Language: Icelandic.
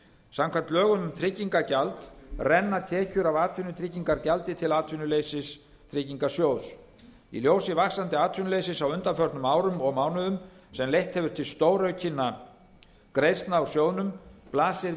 samkvæmt lögum um tryggingagjald renna tekjur af atvinnutryggingagjaldi til atvinnuleysistryggingasjóðs í ljósi vaxandi atvinnuleysis á undanförnum árum og mánuðum sem leitt hefur til stóraukinna greiðslna úr sjóðnum blasir